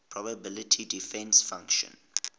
probability density function